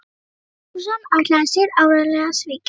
Símon Markússon ætlaði sér áreiðanlega að svíkja hann.